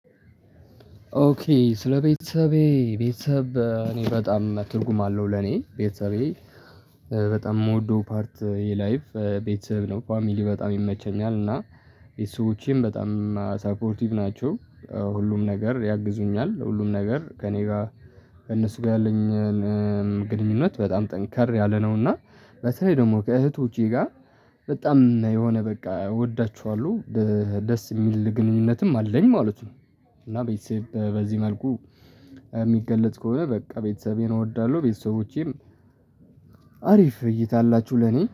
ኦኬ ስለቤተሰቤ ቤተሰብ እኔ በጣም ትርጉም አለው ለኔ ቤተሰቤ በጣም የምወደው ፓርት የላይቭ ቤተሰብ ነው ፋሚሊ በጣም ይመቸኛል እና ቤተሰቦቼም በጣም ሰፖርቲቭ ናቸው። ሁሉም ነገር ያግዙኛል ሁሉም ነገር ከእኔ ጋር ከእነሱ ጋር ያለኝ ግንኙነት በጣም ጠንከር ያለ ነው። እና በተለይ ደግሞ ከእህቶቼ ጋር በጣም የሆነ በቃ እወዳቸኋለሁ ደስ የሚል ግንኙነትም አለኝ ማለት ነው። እና ቤተሰብ በዚህ መልኩ የሚገለጽ ከሆነ በቃ ቤተሰቤን እወዳለሁ። ቤተሰቦቼም አሪፍ እይታ አላችሁ ለኔ